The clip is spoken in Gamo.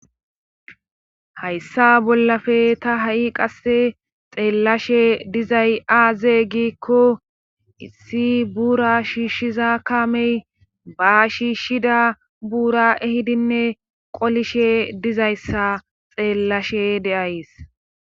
Hayssa bollae ta ha7i qasse xeellashe dizay aazeeygikko issi buura shiishshiza kamey ba shiishshida buura ehidinne qolishe dizayssa xeellashe de'ays.